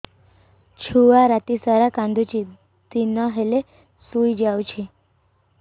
ଛୁଆ ରାତି ସାରା କାନ୍ଦୁଚି ଦିନ ହେଲେ ଶୁଇଯାଉଛି